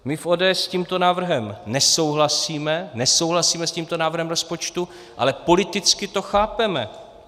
My v ODS s tímto návrhem nesouhlasíme, nesouhlasíme s tímto návrhem rozpočtu, ale politicky to chápeme.